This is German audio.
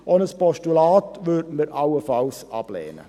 Auch ein Postulat würden wir allenfalls ablehnen.